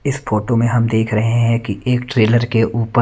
इस फोटो मे हम देख रहें है कि एक ट्रेलर के ऊपर --